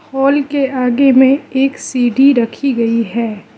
Hall के आगे में एक सीढ़ी रखी गई है।